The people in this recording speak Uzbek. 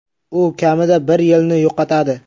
U kamida bir yilni yo‘qotadi.